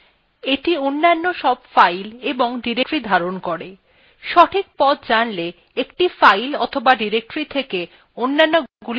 সঠিক path জানলে একটি file অথবা directory থেকে অন্যান্যগুলি সহজে যাওয়া যেতে পারে